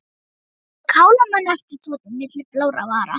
Á að kála manni æpti Tóti milli blárra vara.